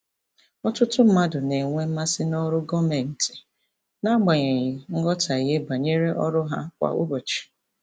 Ọtụtụ mmadụ na-enwe mmasị n'ọrụ gọọmentị n'agbanyeghị nghọtahie banyere ọrụ ha kwa ụbọchị.